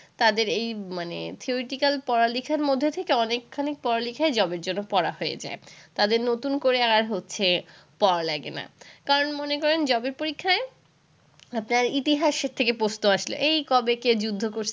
তাদের এই মানে theoretical পড়া-লিখার মধ্যে থেকে অনেকখানি পড়া-লিখাই job এর জন্য পড়া হয়ে যায়। তাদের নতুন করে আর হচ্ছে পড়া লাগে না। কারণ মনে করেন job এর পরীক্ষায় আপনার ইতিহাসের থেকে প্রশ্ন আসল, এই কবে কে যুদ্ধ করছে